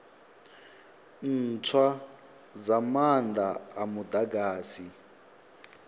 ntswa dza maanda a mudagasi